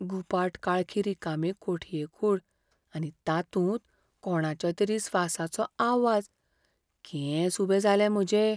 गुपाट काळखी रिकामी कोठये कूड आनी तातूंत कोणाच्या तरी स्वासाचो आवाज. केंस उबे जाले म्हजे.